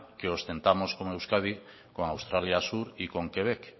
que ostentamos con euskadi con australia sur y con quebec